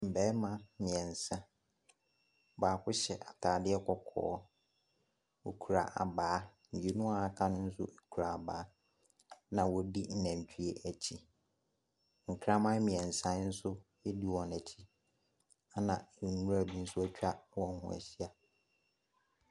Mmarima mmeɛnsa, baako hyɛ atadeɛ kɔkɔɔ. Ɔkura abaa. Mmienu wɔaka no nso kura abaa, ɛna wɔdi nnantwie akyi. Nkraman mmeɛnsa nso di wɔn akyi, ɛna nwura bi nso akwa wɔn ho ahyia.